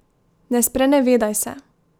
Ne sprenevedaj se.